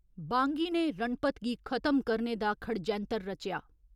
बांगी ने रणपत गी खतम करने दा खडजैंतर रचेआ।